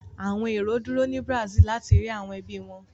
Àwọn èrò dúró ni Brazil láti rí àwọn ẹbí wọ.